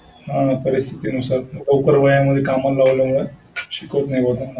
हा परिस्थितीनुसार लवकर वयामध्ये कामाला लावल्यावर शिकवत नाही त्यांना.